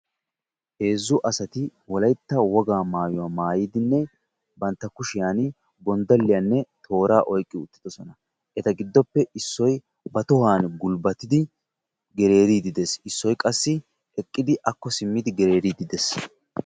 Heezzu asati wolaytta wogaa maayuwa maayidinne bantta kushiyani gondalliyanne tooraa oyikki uttidosona. Eta giddoppe issoy ba tohuwaani gulbatidi gereeriiddi des. Issoy qassi eqqidi akko simmidi gereeriiddi des.